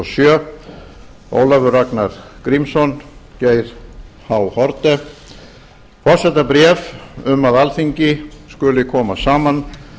sjö ólafur ragnar grímsson geir h haarde forsetabréf um að alþingi skuli koma saman